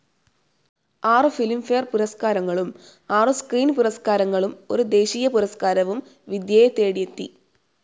ആറു ഫിലിംഫെയർ പുരസ്കാരങ്ങളും ആറു സ്ക്രീൻ പുരസ്കാരങ്ങളും ഒരു ദേശീയപുരസ്കാരവും വിദ്യയെ തേടിയെത്തി.